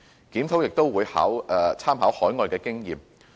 檢討也會參考海外的經驗。